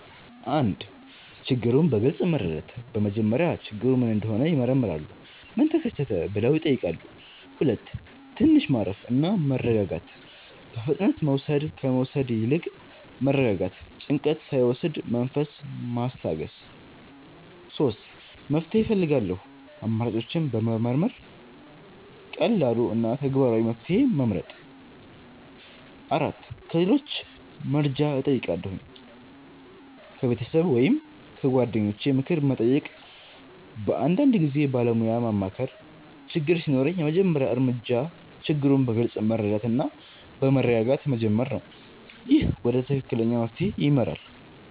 1. ችግሩን በግልጽ መረዳት በመጀመሪያ ችግሩ ምን እንደሆነ ይመረምራሉ “ምን ተከሰተ?” ብለው ይጠይቃሉ 2. ትንሽ ማረፍ እና መረጋጋት በፍጥነት መውሰድ ከመውሰድ ይልቅ መረጋጋት ጭንቀት ሳይወስድ መንፈስ ማስታገስ 3. መፍትሄ እፈልጋለሁ አማራጮችን መመርመር ቀላሉ እና ተግባራዊ መፍትሄ መመርጥ 4. ከሌሎች መርጃ እጨይቃለሁ ከቤተሰብ ወይም ከጓደኞች ምክር መጠየቅ በአንዳንድ ጊዜ ባለሞያ ማማከር ችግር ሲኖር የመጀመሪያ እርምጃ ችግሩን በግልጽ መረዳት እና በመረጋጋት መጀመር ነው። ይህ ወደ ትክክለኛ መፍትሄ ይመራል።